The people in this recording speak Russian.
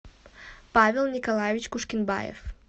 павел николаевич кушкенбаев